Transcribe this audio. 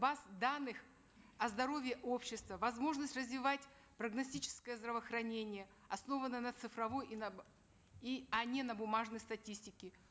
баз данных о здоровье общества возможность развивать прогностическое здравоохранение основанное на цифровой и на и а не на бумажной статистике